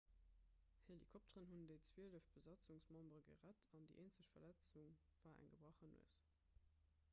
helikopteren hunn déi zwielef besatzungsmembere gerett an déi eenzeg verletzung war eng gebrach nues